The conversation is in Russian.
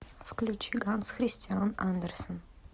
включи ганс христиан андерсен